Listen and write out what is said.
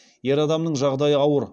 ер адамның жағдайы ауыр